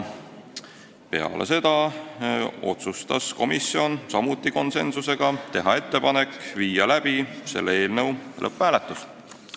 Peale seda otsustas komisjon, samuti konsensuslikult, teha ettepaneku panna see eelnõu lõpphääletusele.